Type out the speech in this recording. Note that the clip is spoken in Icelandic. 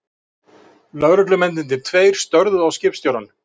Lögreglumennirnir tveir störðu á skipstjórann.